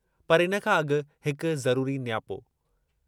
पर इन खां अॻु हिक ज़रूरी नियापो....